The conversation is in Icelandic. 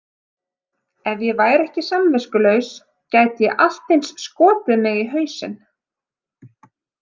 Ef ég væri ekki samviskulaus gæti ég allt eins skotið mig í hausinn.